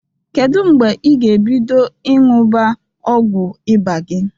Kedu mgbe ị ga-ebido ịṅụba ọgwụ ịba gị?